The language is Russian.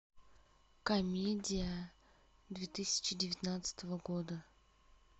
комедия две тысячи девятнадцатого года